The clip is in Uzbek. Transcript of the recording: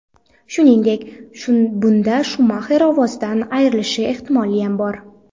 Shuningdek, bunda Shumaxer ovozidan ayrilishi ehtimoliyam bor.